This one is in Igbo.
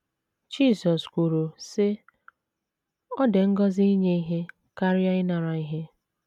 Jisọs kwuru, sị: “ Ọ dị ngọzi inye ihe karịa ịnara ihe. ”